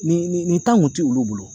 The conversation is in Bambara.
Nin nin kun tɛ olu bolo.